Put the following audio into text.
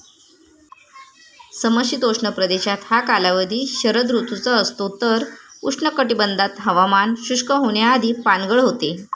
समशीतोष्ण प्रदेशात हा कालावधी शरद ऋतूचा असतो तर, उष्ण कटिबंधात हवामान शुष्क होण्याआधी पानगळ होते.